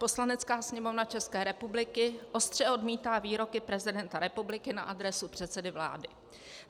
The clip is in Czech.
Poslanecká sněmovna České republiky ostře odmítá výroky prezidenta republiky na adresu předsedy vlády.